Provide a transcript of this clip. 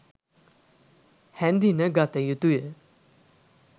හැඳින ගතයුතුය.